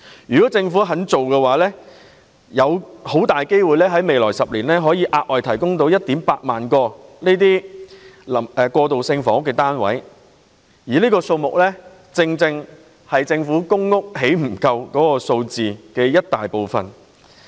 如果政府願意這樣做，未來10年很大機會可以額外提供 18,000 個過渡性房屋單位，而這正是政府興建公屋不足的數字的一大部分。